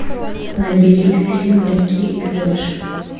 набери фильм рики и флэш